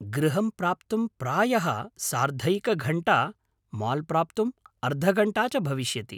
गृहं प्राप्तुं प्रायः सार्धैकघण्टा, माल् प्राप्तुम् अर्धघण्टा च भविष्यति।